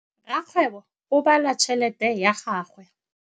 Rakgwêbô o bala tšheletê ya gagwe.